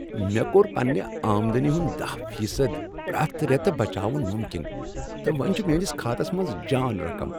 مے٘ كو٘ر پننہِ آمدنی ہُند دہَ فی صدَ پریٚتھ ریتہٕ بچاون مُمكِن تہٕ وۄنۍ چھُ۔ میٲنِس خاتس منز جان رقم